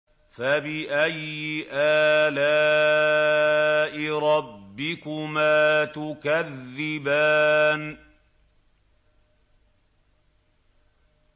فَبِأَيِّ آلَاءِ رَبِّكُمَا تُكَذِّبَانِ